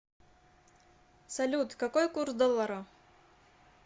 салют какой курс доллара